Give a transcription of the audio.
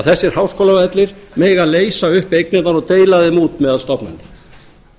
þessir háskólavellir mega leysa upp eignirnar og deila þeim út meðal stofnana bæjarstjórinn